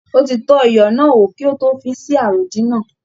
Ó ti tọ́ iyọ̀ náà wò kí ó tó fi sí àròdín náà.